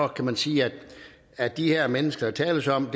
kan man sige at de her mennesker der tales om